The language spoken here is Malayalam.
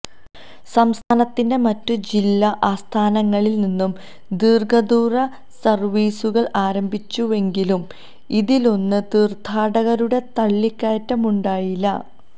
സംസ്ഥാനത്തിന്റെ മറ്റു ജില്ലാ ആസ്ഥാനങ്ങളില് നിന്നും ദീര്ഘദൂര സര്വീസുകള് ആരംഭിച്ചുവെങ്കിലും ഇതിലൊന്നും തീര്ഥാടകരുടെ തള്ളിക്കയറ്റമുണ്ടായില്ല